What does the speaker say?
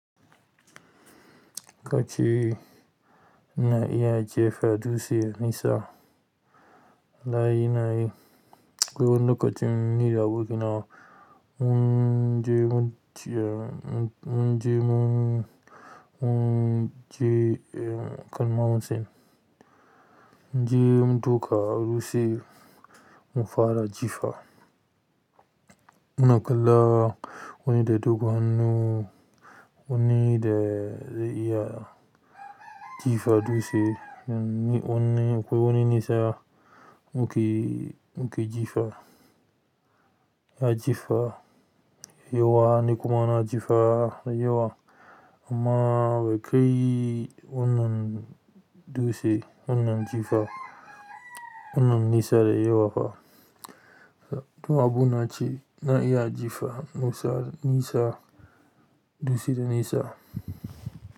Kaci ina iya jefa dutse nisa. Nayi nayi ko wani lokacin nida abokinawa. Mun je mun je mun je kalma hamsin. Mun je mun duka a dutse mun fara jifa. Muna kalla wanne da dogon hannu wanne da iya jifa dutse. Ko wani nisa muke muke jifa ya jifa. Yauwa ni kuma na jifa da yawa amma bai kai wannan dutse wannan jifa wannan nisa dai yawa fa. To abu nace na iya jifa nisa nisa dutse nisa.